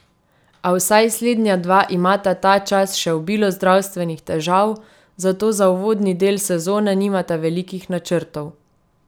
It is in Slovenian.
A vsaj slednja dva imata ta čas še obilo zdravstvenih težav, zato za uvodni del sezone nimata velikih načrtov.